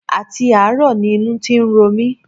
Àti àárọ̀ ni inú ti ń ro mi